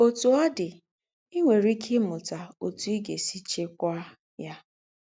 Ọ́tù ọ̀ dị̀, í nwérè íkè ímútà ótù í gá-ésì chíkwàá ya.